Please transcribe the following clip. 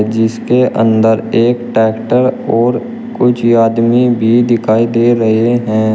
जिसके अंदर एक टैक्टर और कुछ आदमी भी दिखाई दे रहे हैं।